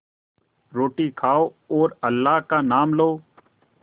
रोटी खाओ और अल्लाह का नाम लो